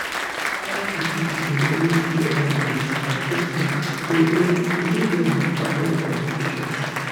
family pipo go always wear hand gloves and face masks to um dey well and avoid complications